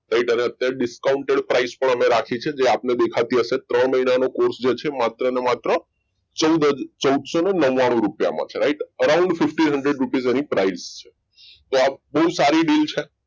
અત્યારે discounted price પર અમે રાખી છે જે આપને દેખાતી હશે ત્રણ મહિનાનો course છે જે માત્રને માત્ર ચૌડસો નવાનુ રૂપિયા માં છે કે around fifteen hundred rupess એની price છે તો આ બહુ સારી deal છે